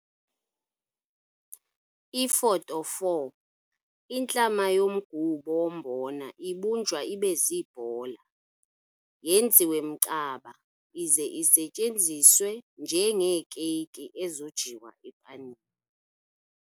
Ifoto 4- Intlama yomgubo wombona ibunjwa ibe ziibhola, yenziwe mcaba ize isetyenziswe njengeekeyiki ezojiwa epanini.